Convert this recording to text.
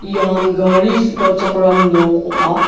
ian gari su·galchakram nok ong·a.